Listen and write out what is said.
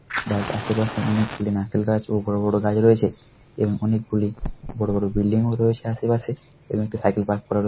যার আশেপাশে অনেক গুলি নারকেল গাছ ও বড়ো বড়ো গাছ রয়েছে এবং অনেকগুলি বড়ো বড়ো বিল্ডিং ও রয়েছে আশেপাশে এবং একটি সাইকেল ও পার্ক করানো রয়ে --